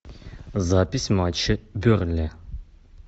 запись матча бернли